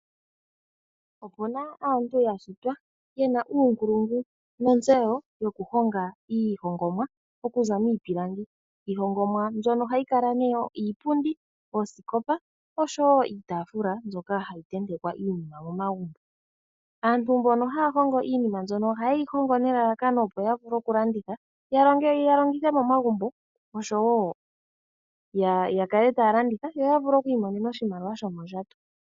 Opuna aantu ya shitwa yena uunkulungu nontseyo yokuhonga iihongomwa okuza miipilangi. Iihongomwa mbyono ohayi kala nee iipundi, oosikopa osho woo iitafula mbyoka hayi tentekwa iinima momagumbo. Aantu mbono haya hongo iinima mbyono ohaye yi hongo nelalakano opo ya vule okulanditha, ya longithe momagumbo osho woo ya kale taya landitha yo ya vule oku imonena oshimaliwa shomondjato.